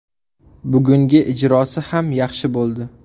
Bugungi ijrosi ham yaxshi bo‘ldi.